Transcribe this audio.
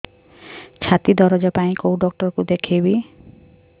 ଛାତି ଦରଜ ପାଇଁ କୋଉ ଡକ୍ଟର କୁ ଦେଖେଇବି